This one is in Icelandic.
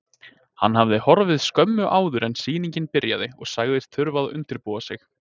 Hann hafði horfið skömmu áður en sýningin byrjaði og sagst þurfa að undirbúa sig.